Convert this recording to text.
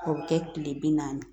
O bɛ kɛ tile bi naani